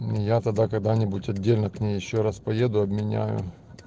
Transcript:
мм я тогда когда-нибудь отдельно к ней ещё раз поеду обменяю